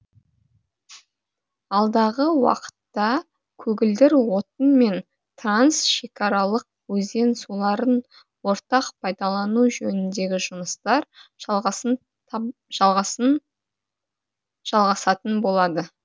алдағы уақытта көгілдір отын мен трансшекараларық өзен суларын ортақ пайдалану жөніндегі жұмыстар жалғасатын болады